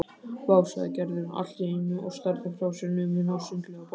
Vá sagði Gerður allt í einu og starði frá sér numin á sundlaugarbakkann.